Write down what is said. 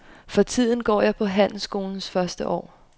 For tiden går jeg på handelsskolens første år.